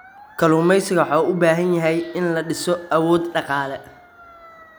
Kalluumaysigu waxa uu u baahan yahay in la dhiso awood dhaqaale.